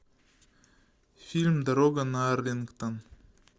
фильм дорога на арлингтон